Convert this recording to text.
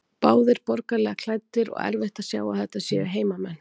Báðir borgaralega klæddir og erfitt að sjá að þetta séu hermenn.